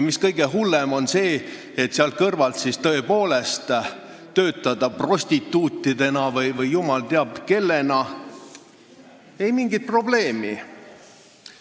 Kõige hullem on see, et selle kõrvalt võivad nad tõepoolest töötada prostituutidena või jumal teab kellena – ei mingit probleemi.